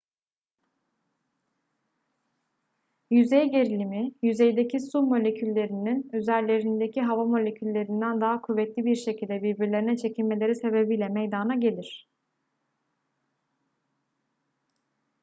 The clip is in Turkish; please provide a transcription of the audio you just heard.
yüzey gerilimi yüzeydeki su moleküllerinin üzerlerindeki hava moleküllerinden daha kuvvetli bir şekilde birbirlerine çekilmeleri sebebiyle meydana gelir